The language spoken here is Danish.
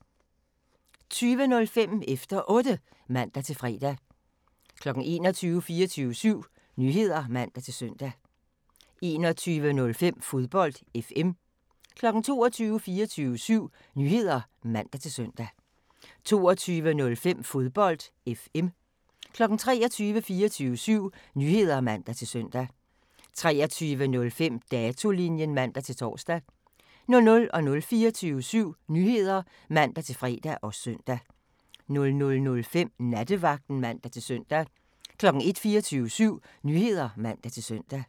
20:05: Efter Otte (man-fre) 21:00: 24syv Nyheder (man-søn) 21:05: Fodbold FM 22:00: 24syv Nyheder (man-søn) 22:05: Fodbold FM 23:00: 24syv Nyheder (man-søn) 23:05: Datolinjen (man-tor) 00:00: 24syv Nyheder (man-fre og søn) 00:05: Nattevagten (man-søn) 01:00: 24syv Nyheder (man-søn)